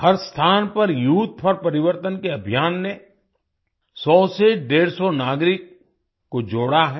हर स्थान पर youth for Parivartan के अभियान ने 100 से डेढ़ सौ 150 नागरिक को जोड़ा है